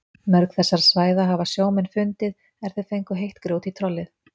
Mörg þessara svæða hafa sjómenn fundið er þeir fengu heitt grjót í trollið.